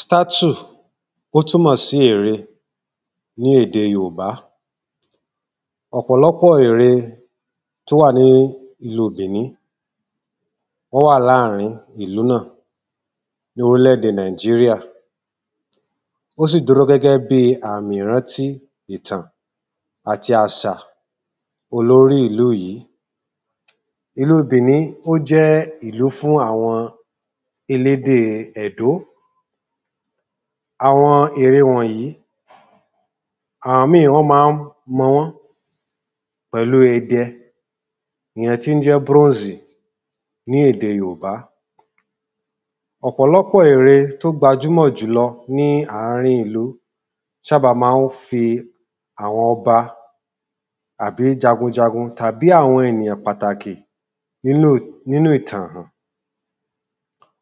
‘Statue’ ó túmò sí èré ní èdè yorùbá Ọ̀pọ̀lọ́pọ̀ èré t’ó wà ní ìlu Bìní, wọ́n wà láàrin ìlú náà l’órílédè Nàìjíríà ó sì dúró gẹ́gẹ́ bí àmì ìrántí ìtàn àti àsà olórí ìlú yìí. Ìlu Bìní ójẹ́ ìlú fún àwọn elédè Ẹdó Àwọn ère wọ̀nyí, àwọn míì wọ́n má ń mọ wọ́n pẹ̀lú idẹ ìyẹn tí ń jẹ́ brónzì ní ède yorùbá Ọ̀pọ̀lọ́pọ̀ èré t’ó gbjúmọ̀ jùlọ ní àárín ìlú ṣábà má ń fi àwọn ọba àbí jagunjagun tàbí àwọn enìyàn pàtàkì n'ínú ìtan-àn.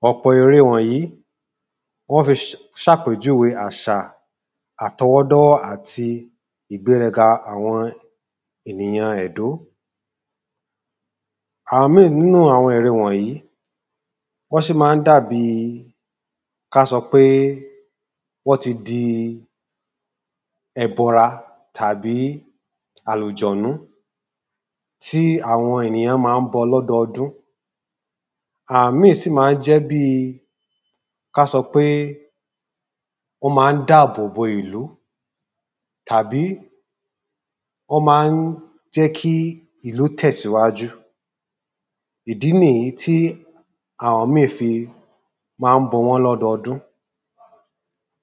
Ọ̀pọ̀ ère wọ̀nyí, wọ́n fi ṣápèjúwe àṣà àtọwọdọ́wọ́ àti ìgbérẹga àwọn ènìyàn Ẹ̀dó Àwọn míì 'nú àwọn ère wọ̀nyi Wọ́n ṣì má ń dàbi k’á sọ pé wọ́n ti di ẹbọra tàbí àlùjọ̀nú tí àwọn ènìyàn má ń bọ l’ọ́dundún Àwọn míì sì má ń jẹ́ bí k’á sọ pé ọ́ má ń dábòbò ìlú tàbí ọ́ má ń jẹ́ kí ìlú tẹ̀síwájú Ìdí n'ìyí tí àwọn míì fi má ń bọ wọ́n l’ọ́dundún.